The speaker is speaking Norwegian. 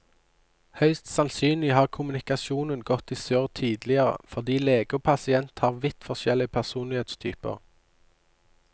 Høyst sannsynlig har kommunikasjonen gått i surr tidligere fordi lege og pasient har vidt forskjellig personlighetstyper.